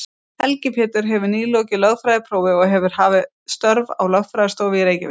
Helgi Pétur hefur nýlokið lögfræðiprófi og hefur hafið störf á lögfræðistofu í Reykjavík.